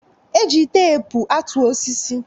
Eji teepu atụ osisi